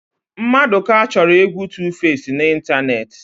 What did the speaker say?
Mmadụka chọrọ égwú Tufesi n'ịntanetị.